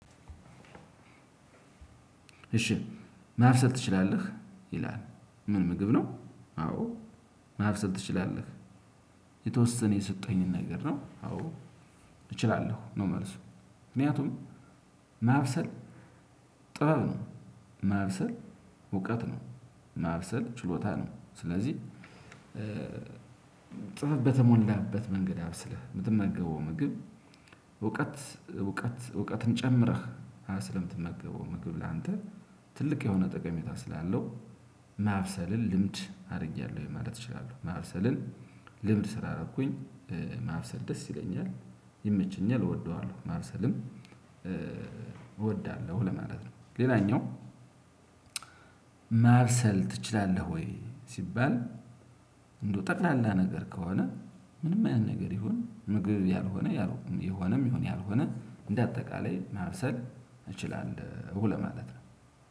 እሺ ማብሰል ትችላለህ ይላል ምን ምግብ ነው? አዎ ማብሰል ትችላለህ የተወሰነ የሰጠኸኝን ነገር ነው። አዎ እችላለሁ ነው። መልሱ ምክንያቱም ማብሰል ጥበብ ነው። ማብሰል እውቀት ነው። ማብስል ችሎታ ነው። ስለዚህ ጽፈ በተሞላበት መንገድ አብስልህ የምትመገበው ምግብ እውቀት እውቀት እውቀትን ጨምረህ ስለምትመገበው ምግብ ላንተ ትልቅ የሆነ ጠቀሜታ ስላለው ማብሰልን ልምድ አድርጌያለሁ ማለት እችላለሁ። ማብሰልን ልምድ ስራ አደረኩኝ ማርሰል ደስ ይለኛል ይመቸኛል እወደዋለሁ ማብሰልን እወዳለሁ ለማለት ነው። ሌላኛው ማብሰል ትችላለህ? ወይ ስባል እንደው ጠቅላላ ነገር ከሆነ ምንም አይነት ነገር ይሁን ምግብ ያልሆነ የሆነ የሆነ ያልሆነ እንዳጠቃላይ ማብሰል እችላለሁ ለማለት ነው።